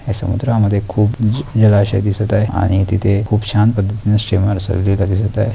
या समुद्रामध्ये खूप जुने जलाशय दिसत आहे आणि तिथे खूप छान पद्धतीने दिसत आहे.